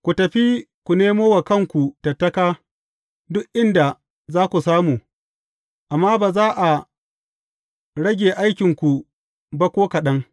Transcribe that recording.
Ku tafi ku nemo wa kanku tattaka duk inda za ku samu, amma ba za a rage aikinku ba ko kaɗan.’